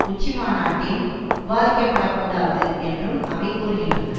உச்சி மாநாட்டில் விவாதிக்கப்படக்கூடாது என்றும் அவை கூறுகின்றன